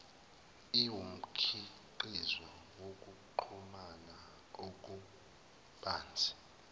iwumkhiqizo wokuxhumana okubanzi